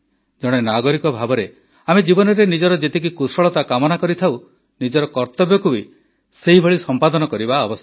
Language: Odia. ଜଣେ ନାଗରିକ ଭାବରେ ଆମେ ଜୀବନରେ ନିଜର ଯେତିକି କୁଶଳତା କାମନା କରିଥାଉ ନିଜର କର୍ତବ୍ୟକୁ ବି ସେହିଭଳି ସମ୍ପାଦନ କରିବା ଆବଶ୍ୟକ